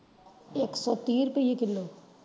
ਇਕ ਸੋ ਤੀ ਰੁਪਈਏ ਕਿਲੋ।